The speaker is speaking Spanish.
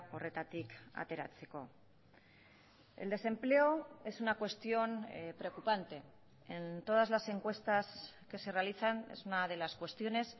horretatik ateratzeko el desempleo es una cuestión preocupante en todas las encuestas que se realizan es una de las cuestiones